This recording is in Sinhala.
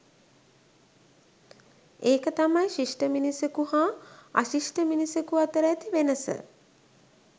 එක තමයි ශිෂ්ඨ මිනිසකු හා අශිෂ්ඨ මිනිසකු අතර ඇති වෙනස